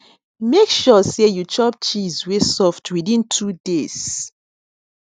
make sure sey you chop cheese wey soft within two days